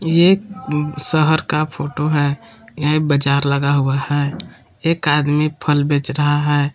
ये शहर का फोटो है यह बाजार लगा हुआ है एक आदमी फल बेच रहा है।